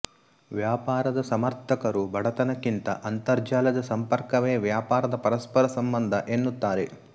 ವ್ಯಾಪಾರದ ಸಮರ್ಥಕರು ಬಡತನಕ್ಕಿಂತ ಅಂತರ್ಜಾಲದ ಸಂಪರ್ಕವೇ ವ್ಯಾಪಾರದ ಪರಸ್ಪರ ಸಂಬಂಧ ಎನ್ನುತ್ತಾರೆ